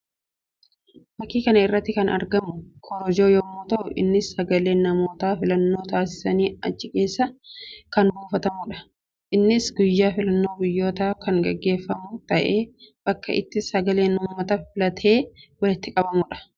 Fakkii kana irratti kan argamu korojoo yammuu ta'u; innis sagaleen namootaa filannoo taasisanii achi keessa kan buufamuudha. Innis guyyaa filannoo biyyootaa kan gaggeeffamu ta'ee bakka itti sagaleen uummata filatee walitti qabamuudha.